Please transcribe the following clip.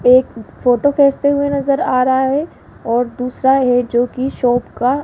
एक फोटो खींचते हुए नजर आ रहा है और दूसरा है जो कि शॉप का--